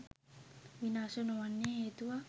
විනාශ නොවෙන්න හේතුවක්?